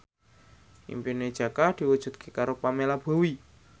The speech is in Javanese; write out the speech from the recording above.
impine Jaka diwujudke karo Pamela Bowie